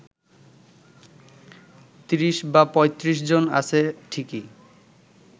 ৩০/৩৫ জন আছে ঠিকই